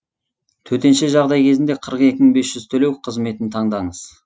төтенше жағдай кезінде қырық екі мың бес жүз төлеу қызметін таңдаңыз